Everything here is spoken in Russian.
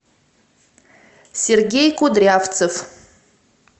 сергей кудрявцев